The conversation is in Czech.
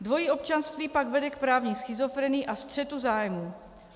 Dvojí občanství pak vede k právní schizofrenii a střetu zájmů.